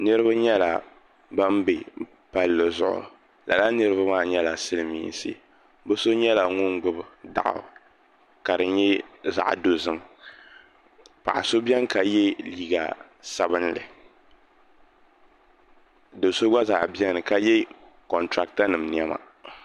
niriba nyɛla ban n-be palli zuɣu lala niriba maa nyɛla silimiinsi bɛ so nyɛla ŋun gbubi daɣu ka di nyɛ zaɣ'dozim paɣ'so beni ka ye liiga sabinlli do'so gba beni ka ye kɔntrakitanima niɛma